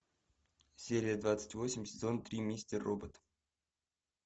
серия двадцать восемь сезон три мистер робот